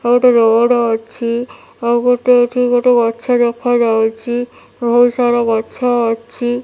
ଏଇଠି ରୋଡ଼ ଅଛି ଆଉ ଗୋଟେ ଏଠି ଗୋଟେ ଗଛ ଦେଖା ଯାଉଛି ବହୁତ୍ ସାରା ଗଛ ଅଛି।